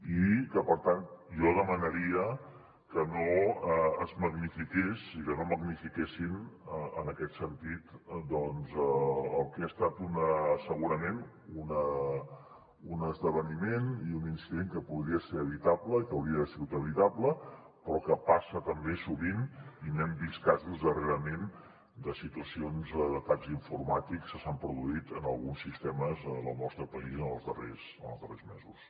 i per tant jo demanaria que no es magnifiqués i que no magnifiquessin en aquest sentit doncs el que ha estat segurament un esdeveniment i un incident que podria ser evitable i que hauria d’haver sigut evitable però que passa també sovint i n’hem vist casos darrerament de situacions d’atacs informàtics que s’han produït en alguns sistemes del nostre país en els darrers mesos